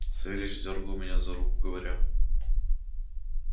савельич дёргал меня за руку говоря